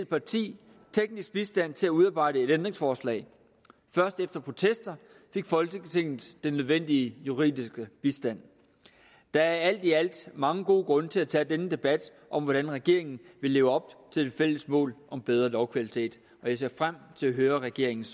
parti teknisk bistand til at udarbejde et ændringsforslag først efter protester fik folketinget den nødvendige juridiske bistand der er alt i alt mange gode grunde til at tage denne debat om hvordan regeringen vil leve op til det fælles mål om bedre lovkvalitet og jeg ser frem til at høre regeringens